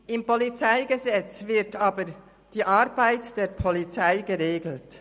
Im PolG wird aber die Arbeit der Polizei geregelt.